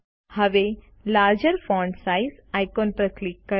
હવે larger font size icon ઉપર click કરો